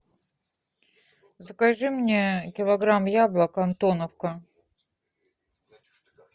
закажи мне килограмм яблок антоновка